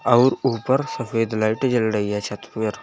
अऊर ऊपर सफेद लाइट जल रही है छत पर।